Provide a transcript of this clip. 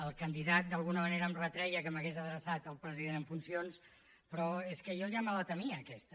el candidat d’alguna manera em retreia que m’hagués adreçat al president en funcions però és que jo ja me la temia aquesta